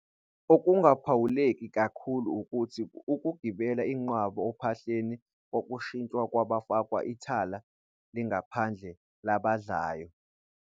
Okungaphawuleki kakhulu ukuthi ukugibela inqwaba ophahleni kwashintshwa kwafakwa ithala elingaphandle labadlayo.